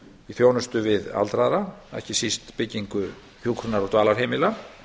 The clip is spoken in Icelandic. í þjónustu við aldraða ekki síst byggingu hjúkrunar og dvalarheimila